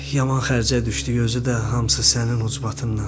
Yaman xərcə düşdük, özü də hamısı sənin ucbatından.